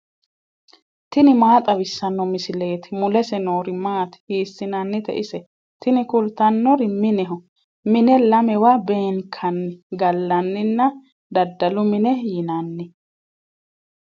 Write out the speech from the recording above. tini maa xawissanno misileeti ? mulese noori maati ? hiissinannite ise ? tini kultannori mineho. mine lamewa beenkanni gallanninna daddalu mine yinanni.